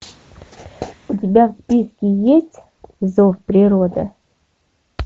у тебя в списке есть зов природы